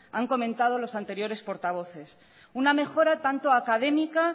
han comentado los anteriores portavoces una mejora tanto académica